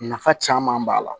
Nafa caman b'a la